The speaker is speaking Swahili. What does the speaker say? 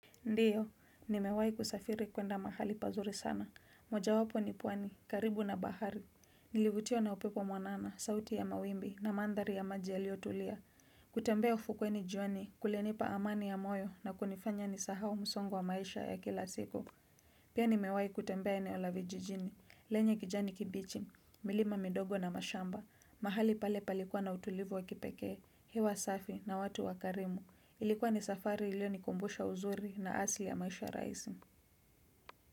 Ndiyo, nimewai kusafiri kwenda mahali pazuri sana. Moja wapo ni pwani, karibu na bahari. Nilivutiwa na upepo mwanana, sauti ya mawimbi na mandhari ya maji yaliyotulia. Kutembea ufukuweni jioni, kulinipa amani ya moyo na kunifanya nisahau msongo wa maisha ya kila siku. Pia nimewai kutembea eneo la vijijini, lenye kijani kibichi, milima midogo na mashamba, mahali pale palikuwa na utulivu wa kipekee, hewa safi na watu wakarimu, ilikuwa ni safari iliyonikumbusha uzuri na asili ya maisha rahisi.